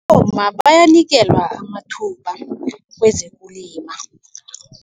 Abomma bayanikelwa amathuba kwezokulima.